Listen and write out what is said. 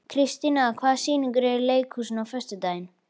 Kristíanna, hvaða sýningar eru í leikhúsinu á föstudaginn?